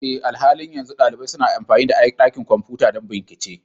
Eh, a halin yanzu ɗalibai suna amfani da dakin kwamfuta don bincike